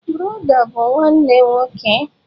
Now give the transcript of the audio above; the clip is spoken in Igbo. Brọdá bụ nwanne nwoke.